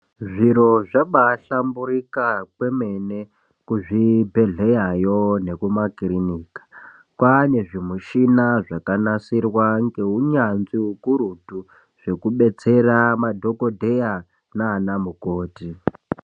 Zviro zvabaahlamburika kwemene kuzvibhedhleyayo nekumakirinika kwaane zvimushina zvakanasirwa ngeunyanzvi ukurutu zvekubetsera madhokodheya nana mukoti.